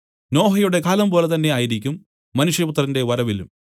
നോഹയുടെ കാലംപോലെ തന്നേ ആയിരിക്കും മനുഷ്യപുത്രന്റെ വരവിലും